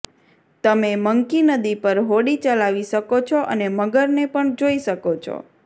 તમે મંકી નદી પર હોડી ચલાવી શકો છો અને મગરને પણ જોઈ શકો છો